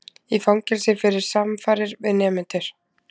Í fangelsi fyrir samfarir við nemendur